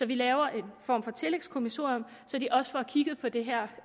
vi laver en form for tillægskommissorium så de også får kigget på det her